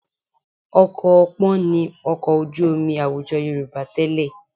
Ọkọ̀ ọpọ́n ni ọkọ̀ ojú omi àwùjọ Yorùbá tẹ́lẹ̀